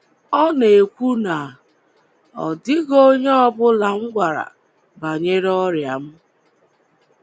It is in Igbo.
um Ọ na-ekwu na, "Ọ um dịghị onye ọ bụla m gwara banyere ọrịa m, ”